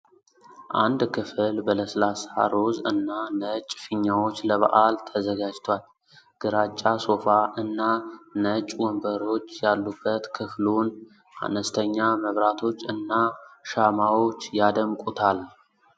አንድ ክፍል በለስላሳ ሮዝ እና ነጭ ፊኛዎች ለበዓል ተዘጋጅቷል። ግራጫ ሶፋ እና ነጭ ወንበሮች ያሉበት ክፍሉን፣ አነስተኛ መብራቶች እና ሻማዎች ያደምቁታል።